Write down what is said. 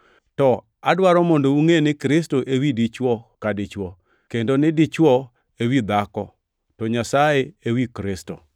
To adwaro mondo ungʼe ni Kristo ewi dichwo ka dichwo, kendo ni dichwo ewi dhako, to Nyasaye ewi Kristo.